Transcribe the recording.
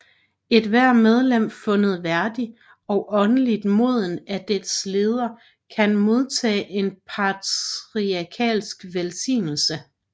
Ethvert medlem fundet værdig og åndeligt moden af deres leder kan modtage en patriarkalsk velsignelse